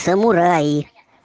самураи